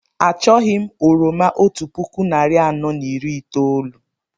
Achọghị m oroma otú puku narị anọ na iri itoolu